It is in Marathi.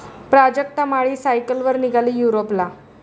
प्राजक्ता माळी सायकलवर निघाली युरोपला!